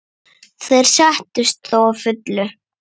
Þeir sættust þó að fullu.